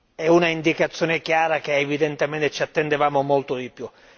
è un'indicazione chiara che, evidentemente, ci attendevamo molto di più.